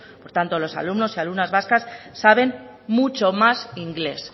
por tanto los alumnos y alumnas vascas saben mucho más inglés